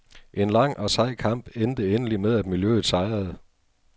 En lang og sej kamp endte endelig med, at miljøet sejrede.